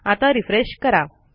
आता रिफ्रेश करा